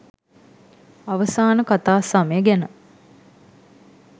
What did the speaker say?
අවසාන කතා සමය ගැන